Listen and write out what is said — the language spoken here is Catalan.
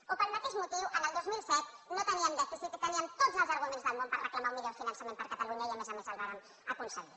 o pel mateix motiu en el dos mil set no teníem dèficit i teníem tots els arguments del món per reclamar un millor finançament per a catalunya i a més a més el vàrem aconseguir